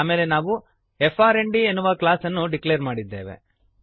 ಆಮೇಲೆ ನಾವು ಫ್ರ್ಂಡ್ ಎನ್ನುವ ಕ್ಲಾಸ್ಅನ್ನು ಡಿಕ್ಲೇರ್ ಮಾಡಿದ್ದೇವೆ